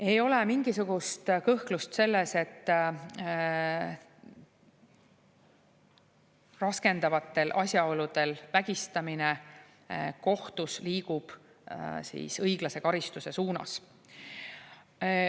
Ei ole mingisugust kõhklust selles, et raskendavatel asjaoludel vägistamine liigub kohtus õiglase karistuse suunas.